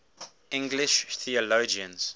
english theologians